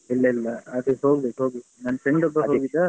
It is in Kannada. ಇಲ್ಲ ಇಲ್ಲ ಅದು ಹೋಗ್ಬೇಕು ಹೋಗ್ಬೇಕು ನನ್ friend ಒಬ್ಬ ಹೋಗಿದ್ದ.